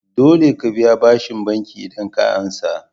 Dole ka biya bashin banki idan ka ansa